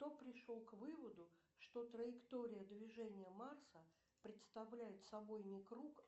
кто пришел к выводу что траектория движения марса представляет собой не круг